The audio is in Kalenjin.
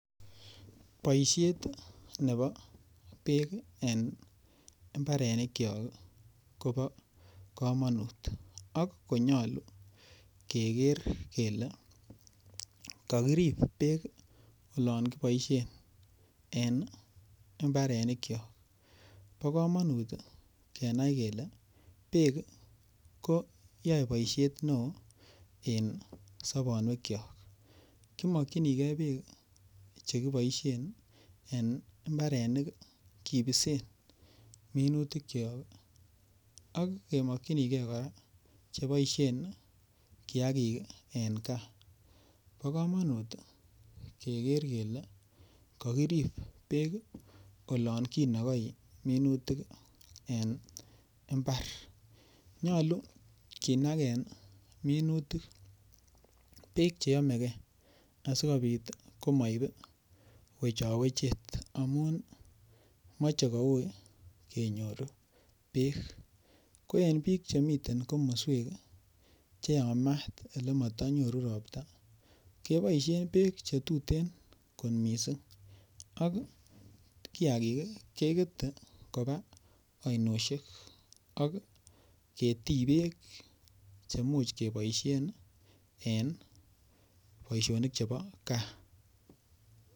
Boisiet nebo bek en mbarenikyok kobo kamanut ak konyolu keger kele kakirib bek olon kiboisien en mbarenikyok bo komonut kenai kele bek koyoe boisiet neo en sobonwekyok ki mokyinigei bek Che kiboisien en mbarenik kibisen minutik ak kemokyinge kora Che boisien kiagik en gaa bo komonut keger kele kakirib bek olon kibisen minutik en mbar nyolu kinagen minutik bek Che yomegei asikobit komoib wechowechet amun moche koui kenyor bek ko en bik Che miten en komoswek Che Yamat Ole mato nyoru Ropta keboisien bek Che tuten kot mising ak kiagik kegete koba ainosiek ak ketii bek Che Imuch keboisien en boisionik Che bo gaa